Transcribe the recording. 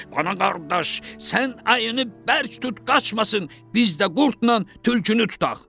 Qonaq qardaş, sən ayını bərk tut, qaçmasın, biz də qurdla tülkünü tutaq.